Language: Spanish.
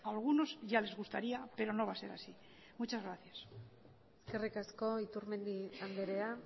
a algunos ya les gustaría pero no va a ser así muchas gracias eskerrik asko iturmendi andrea